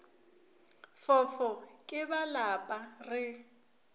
fofo ke ba lapa re